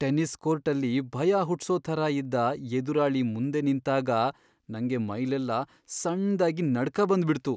Tennis ಕೋರ್ಟಲ್ಲಿ ಭಯ ಹುಟ್ಸೋ ಥರ ಇದ್ದ ಎದುರಾಳಿ ಮುಂದೆ ನಿಂತಾಗ ನಂಗೆ ಮೈಲೆಲ್ಲ ಸಣ್ದಾಗಿ ನಡ್ಕ ಬಂದ್ಬಿಡ್ತು.